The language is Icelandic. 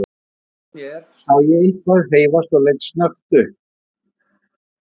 Út undan mér sá ég eitthvað hreyfast og leit snöggt upp.